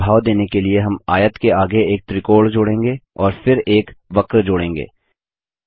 पानी का प्रभाव देने के लिए हम आयत के आगे एक त्रिकोण जोड़ेंगे और फिर एक वक्र जोड़ेंगे